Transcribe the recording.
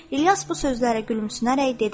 İlyas bu sözlərə gülümsünərək dedi: